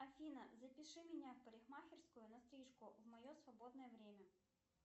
афина запиши меня в парикмахерскую на стрижку в мое свободное время